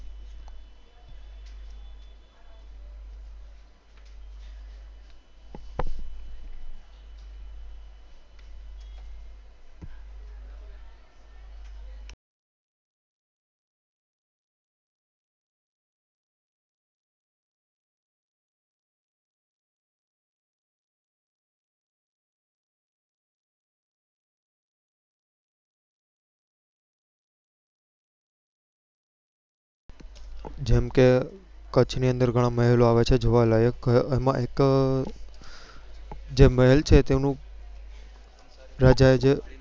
જેમ ક કચ્છ ની અંદર ગણા મહેલ આવેલા છે જોવાલાયક અમ એક જે મહેલ તેનું